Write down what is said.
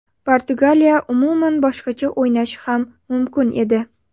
Portugaliya umuman boshqacha o‘ynashi ham mumkin edi.